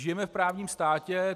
Žijeme v právním státě.